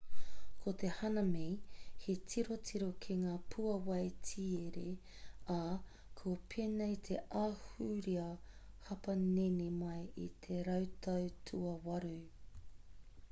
ko te hanami he tirotiro ki ngā pūāwai tiere ā kua pēnei te ahurea hapanihi mai i te rautau tuawaru